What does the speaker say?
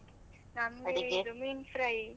ಮೀನ್ fry .